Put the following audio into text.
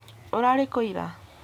Urarĩkũ ira ?